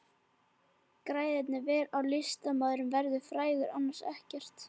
Græðir vel ef listamaðurinn verður frægur, annars ekkert.